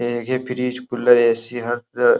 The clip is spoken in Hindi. ये फ्रिज कूलर ए.सी. हर --